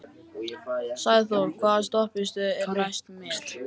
Sæþór, hvaða stoppistöð er næst mér?